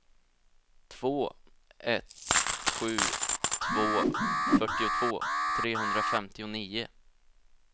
två ett sju två fyrtiotvå trehundrafemtionio